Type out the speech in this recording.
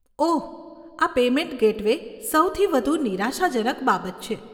ઓહ, આ payment gateway સૌથી વધુ નિરાશાજનક બાબત છે.